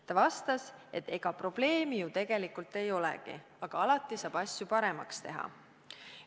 Ta vastas, et ega probleemi ju tegelikult ei olegi, aga alati saab asju paremaks teha.